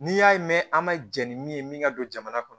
N'i y'a ye mɛn an ma jɛn ni min ye min ka don jamana kɔnɔ